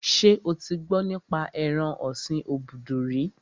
Ṣé o ti gbọ́ nípa ẹran ọ̀sin obudu rí?